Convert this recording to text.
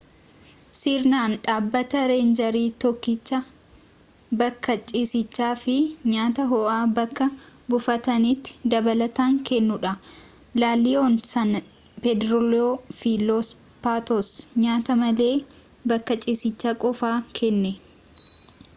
sirenan dhabbata reenjarii tokkicha bakka ciisicha fi nyaata ho'aa bakka buufataatti dabalatan kennudha la leona san pedrillo fi los patos nyaata malee bakka ciisichaa qofaa kenna